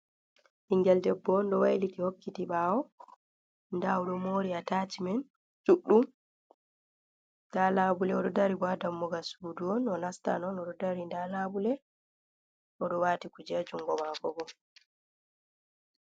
ɓingel debbo on do wailiti hokkiti ɓawo. da odo mori a tasimen duɗɗum da labule odo dari bo ha dammugal suudu on onastan odo dari, da labule odo waati kuje jungo maako bo.